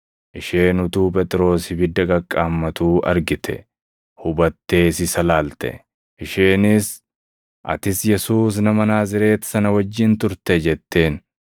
Isheen utuu Phexros ibidda qaqqaammatuu argite; hubattees isa ilaalte. Isheenis, “Atis Yesuus nama Naazreeti sana wajjin turte” jetteen.